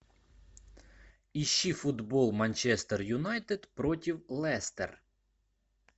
ищи футбол манчестер юнайтед против лестер